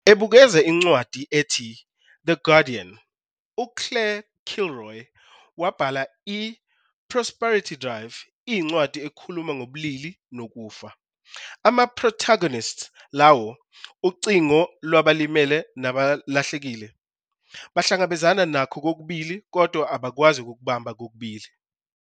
Ebukeza incwadi ethi "The Guardian", uClaire Kilroy wabhala - "I-Prosperity Drive" iyincwadi ekhuluma ngobulili nokufa. Ama-protagonists - lawo 'ucingo lwabalimele nabalahlekile' - bahlangabezana nakho kokubili kodwa abakwazi ukukubamba kokubili.